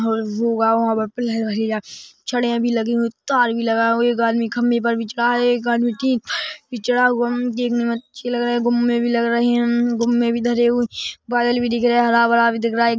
छड़ियाँ लगी हुईं तार भी लगा हुआ एक आदमी खंबे पर भी चढ़ा है एक आदमी टीं भी चढ़ा हुआ है देखने में अच्छे लग रहे गुममे भी लग रहे गुममे भी धरे हुए बादल भी दिख रहा हरा - भरा भी दिख रा हैं।